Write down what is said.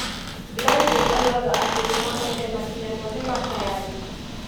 Glanville oigaga atĩ nĩ monyete makinya mothe ma cayanici